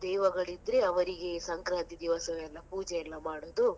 ದೇವಗಳಿದ್ರೆ ಅವರಿಗೆ ಸಂಕ್ರಾಂತಿ ದಿವಸವೆಲ್ಲಾ ಪೂಜೆಯೆಲ್ಲ ಮಾಡೋದು.